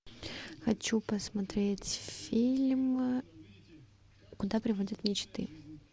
хочу посмотреть фильм куда приводят мечты